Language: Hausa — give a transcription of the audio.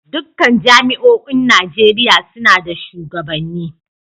Dukkan jami'oin Najeriya suna da shugabanni